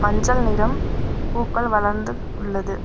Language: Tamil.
மஞ்சள் நிறம் பூக்கள் வளர்ந்து உள்ளது.